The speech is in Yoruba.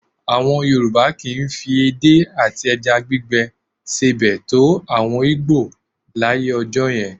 À̀wọn Yorùbá kì í fi ẹdé àti ẹja gbígbẹ sebẹ̀ tó àwọn Ìgbò láyé ọjọ́ yẹn